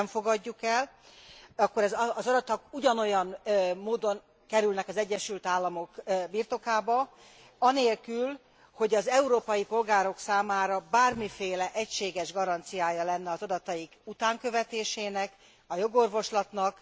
Ha nem fogadjuk el, akkor az adatok ugyanolyan módon kerülnek az Egyesült Államok birtokába anélkül, hogy az európai polgárok számára bármiféle egységes garanciája lenne az adataik utánkövetésének, jogorvoslatnak.